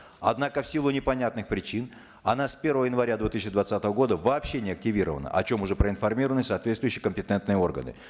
однако в силу непонятных причин она с первого января две тысячи двадцатого года вообще не активирована о чем уже проинформированы соответствующие компетентные органы